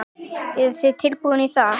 Eruð þið tilbúnir í það?